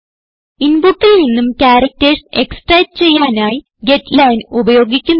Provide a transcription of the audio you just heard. ഇൻപുട്ടിൽ നിന്നും characters extract ചെയ്യാനായി ഗെറ്റ്ലൈൻ ഉപയോഗിക്കുന്നു